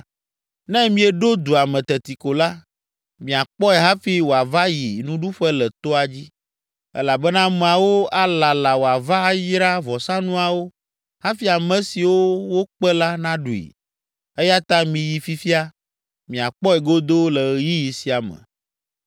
Ne mieɖo dua me teti ko la, miakpɔe hafi wòava ayi nuɖuƒe le toa dzi; elabena ameawo alala wòava ayra vɔsanuawo hafi ame siwo wokpe la naɖui. Eya ta miyi fifia, miakpɔe godoo le ɣeyiɣi sia me.”